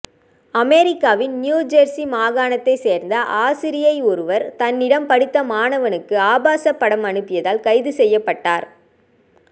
அமெரிக்காவின் New Jersey மாகாணத்தை சேர்ந்த ஆசிரியை ஒருவர் தன்னிடம் படித்த மாணவனுக்கு ஆபாச படம் அனுப்பியதால் கைது செய்யப்பட்டார்